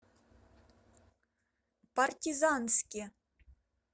партизанске